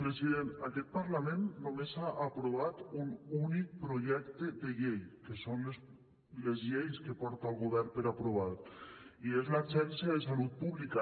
president aquest parlament només ha aprovat un únic projecte de llei que són les lleis que porta el govern per aprovar i és l’agència de salut pública